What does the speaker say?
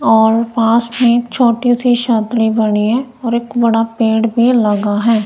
और पास में एक छोटी सी छतरी बनी है और एक बड़ा पेड़ भी लगा है।